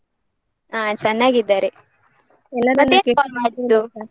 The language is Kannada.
ಹ ಚೆನ್ನಾಗಿದ್ದಾರೆ. ಮತ್ತೇಕೆ call ಮಾಡಿದ್ದು?